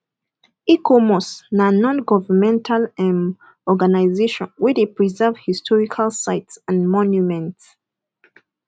icomos na non governmental um organisation wey de preserve historical sites and monuments